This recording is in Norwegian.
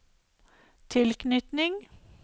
tilknytning